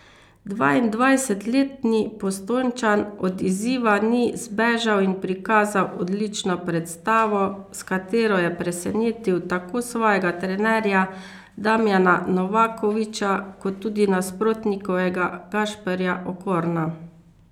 Dvaindvajsetletni Postojnčan od izziva ni zbežal in prikazal odlično predstavo, s katero je presenetil tako svojega trenerja Damjana Novakovića kot tudi nasprotnikovega Gašperja Okorna.